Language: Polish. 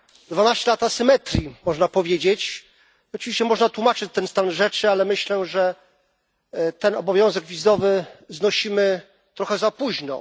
Dwanaście lat asymetrii, można powiedzieć, oczywiście można tłumaczyć ten stan rzeczy, ale myślę, że ten obowiązek wizowy znosimy trochę za późno.